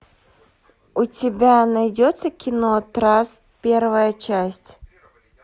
у тебя найдется кино траст первая часть